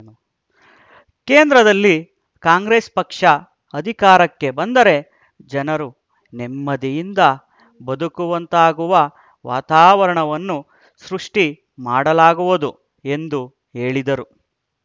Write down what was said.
ಕೇಂದ್ರದಲ್ಲಿ ಕಾಂಗ್ರೆಸ್ ಪಕ್ಷ ಅಧಿಕಾರಕ್ಕೆ ಬಂದರೆ ಜನರು ನೆಮ್ಮದಿಯಿಂದ ಬದುಕುವಂತಾಗುವ ವಾತಾವರಣವನ್ನು ಸೃಷ್ಟಿ ಮಾಡಲಾಗುವುದು ಎಂದು ಹೇಳಿದರು